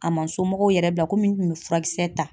A ma somɔgɔw yɛrɛ bila komi n tun bɛ furakisɛ ta.